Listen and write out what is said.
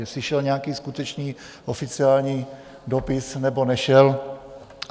Jestli šel nějaký skutečný oficiální dopis, nebo nešel?